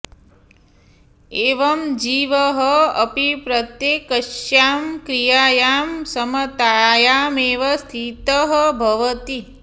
एवं जीवः अपि प्रत्येकस्यां क्रियायां समतायामेव स्थितः भवति